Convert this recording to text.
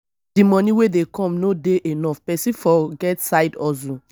if di money wey dey come no dey enough person fot get side hustle